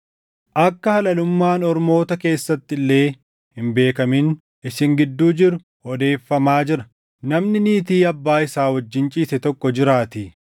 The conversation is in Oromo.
Akka halalummaan ormoota keessatti illee hin beekamin isin gidduu jiru odeeffamaa jira: namni niitii abbaa isaa wajjin ciise tokko jiraatii.